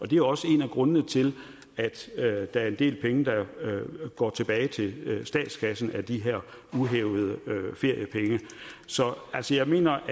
det er også en af grundene til at der er en del penge der går tilbage til statskassen af de her uhævede feriepenge så jeg mener